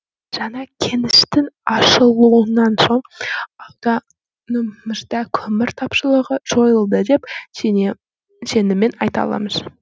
жаңа кеніштің ашылуынан соң ауданымызда көмір тапшылығы жойылды деп сеніммен айта аламыз